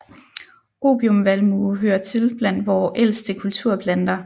Opiumvalmue hører til blandt vore ældste kulturplanter